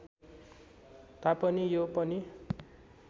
तापनि यो पनि